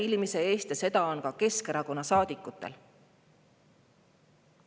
See on ka Keskerakonna saadikutel.